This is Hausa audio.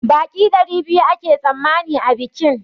Baƙi ɗari biyu ake tsammani a bikin